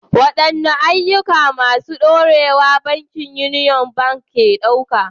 Waɗanne ayyuka masu ɗorewa bankin Union Bank ke ɗauka?